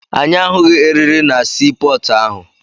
Anyị ahụghị erịrị na sii pọọtụ ahụ.